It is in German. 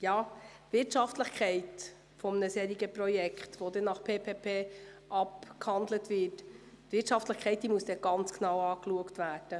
Die Wirtschaftlichkeit eines PPP-Projekts muss genau betrachtet werden.